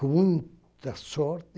Com muita sorte,